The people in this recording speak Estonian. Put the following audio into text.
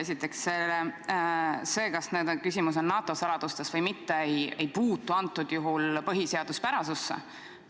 Esiteks, see, kas küsimus on NATO saladustes või mitte, ei puutu praegusel juhul põhiseaduspärasusse.